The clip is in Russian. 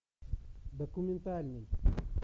документальный